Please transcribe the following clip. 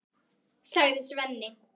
sagði Svenni.